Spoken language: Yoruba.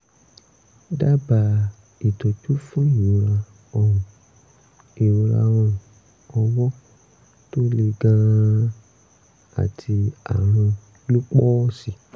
dábàá ìtọ́jú fún ìrora ọrùn ìrora ọrùn ọwọ́ tó le gan-an àti àrùn lúpọ́ọ̀sì